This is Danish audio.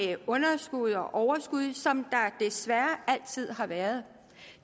underskud og overskud som der desværre altid har været